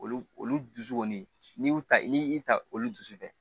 Olu olu dusu kɔni n'i y'u ta n'i y'i ta olu dusu fɛ